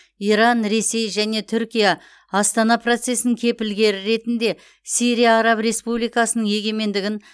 иран ресей және түркия астана процесінің кепілгері ретінде сирия араб республикасының егемендігін